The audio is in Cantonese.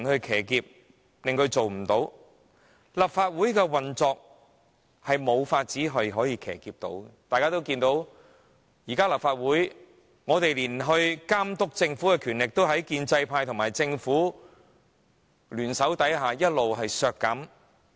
其實，立法會的運作是無法騎劫的，大家也看見，立法會現時就連監察政府的機會和權力，也在建制派和政府聯手下一直被削減。